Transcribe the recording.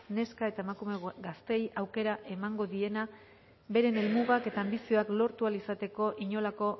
neska eta emakume gazteei aukera emango diena beren helmugak eta anbizioak lortu ahal izateko inolako